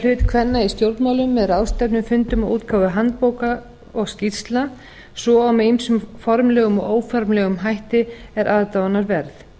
hlut kvenna í stjórnmálum með ráðstefnufundum og útgáfu handbóka og skýrslna svo og með ýmsum formlegum og óformlegum hætti er aðdáunarverð